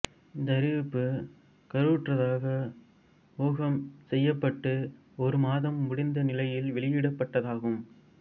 இந்த அறிவிப்பு கருவுற்றதாக ஊகம்செய்யப்பட்டு ஒரு மாதம் முடிந்த நிலையில் வெளியிடப்பட்டதாகும்